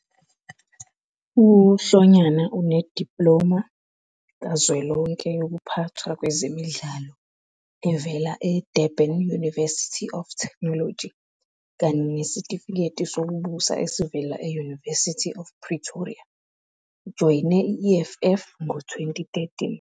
UHlonyana une-diploma kazwelonke yokuphathwa kwezemidlalo evela eDurban University of Technology kanye nesitifiketi sokubusa esivela e- University of Pretoria. Ujoyine i-EFF ngo-2013.